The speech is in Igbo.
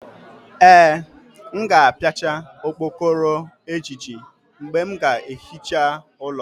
Ee, m ga-apiachá okpokoro ejiji mgbe m ga-ehicha ụlọ